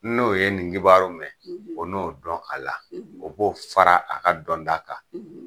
N'o ye nin kibaru mɛ, o n'o dɔ kala. o b'o fara a ka dɔnta kan.